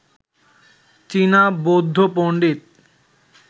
চীনা বৌদ্ধ পন্ডিত